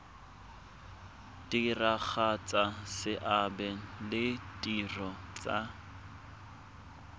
diragatsa seabe le ditiro tsa